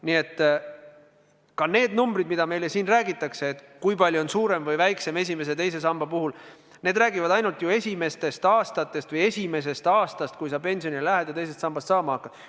Nii et need numbrid, millest meile siin räägitakse, et kui palju on pension suurem või väiksem esimese ja teise samba puhul, räägivad ainult esimestest aastatest või esimesest aastast, kui sa pensionile lähed ja teisest sambast raha saama hakkad.